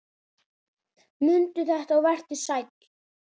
Mundu þetta og vertu sæll!